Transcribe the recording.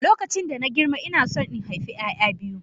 Lokacin da na girma ina so in haifi 'ya'ya biyu